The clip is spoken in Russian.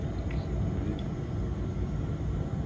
если ты уверен